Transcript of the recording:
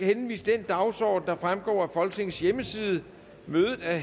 henviser til den dagsorden der fremgår af folketingets hjemmeside mødet er